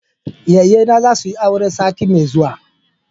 yayyena za su yi aure sati mai zuwa